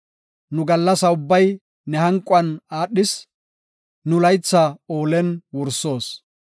Nu gallasa ubbay ne hanquwan aadhis; nu laytha oolen wursoos.